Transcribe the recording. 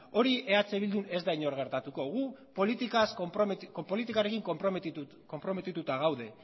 hori eh bildun ez da inoiz gertatuko guk politikarekin konprometituta gaude